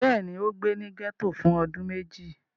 Bẹ́ẹ̀ ni, ó gbé ní gẹ́tò fún ọdún méjì.